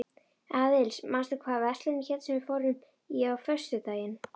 Aðils, manstu hvað verslunin hét sem við fórum í á föstudaginn?